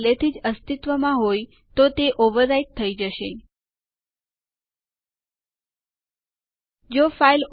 ચાલો આ આદેશ નો પ્રયાસ કરીએ અને જોઈએ